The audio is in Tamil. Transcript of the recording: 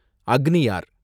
அக்னியார்